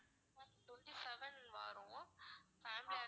ma'am twenty seven வாறோம் family and